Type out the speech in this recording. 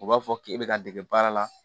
U b'a fɔ k'e bɛ ka dege baara la